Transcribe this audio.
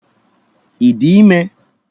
Ị dị ime?